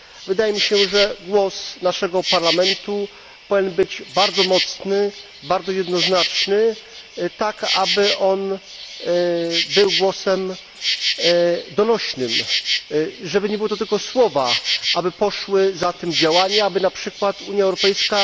Wydaje mi się, że głos naszego Parlamentu powinien być bardzo mocny, bardzo jednoznaczny, tak aby był głosem donośnym, żeby nie były to tylko słowa, aby poszły za tym działania, aby na przykład Unia Europejska